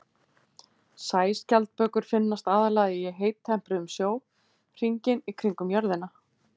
Sæskjaldbökur finnast aðallega í heittempruðum sjó hringinn í kringum jörðina.